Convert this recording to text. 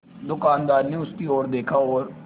दुकानदार ने उसकी ओर देखा और